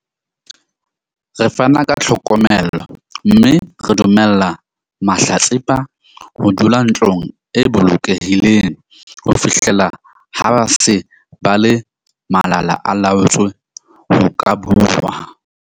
Re fana ka tlhokomelo mme re dumella mahlatsipa ho dula ntlong e bolokehileng ho fihlela ha ba se ba le malala-a-laotswe ho ka bua.